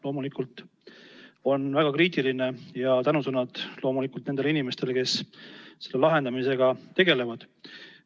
Loomulikult on olukord väga kriitiline ja saadan tänusõnad nendele inimestele, kes selle lahendamisega tegelevad.